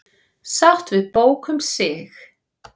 Sátt við bók um sig